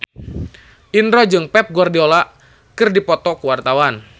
Indro jeung Pep Guardiola keur dipoto ku wartawan